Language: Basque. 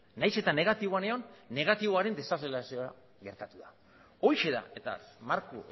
nahiz eta negatiboan egon negatiboaren gertatu da horixe da eta marko